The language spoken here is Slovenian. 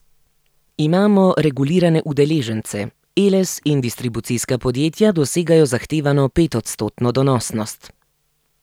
Imamo regulirane udeležence, Eles in distribucijska podjetja dosegajo zahtevano petodstotno donosnost.